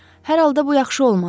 Hər halda bu yaxşı olmadı.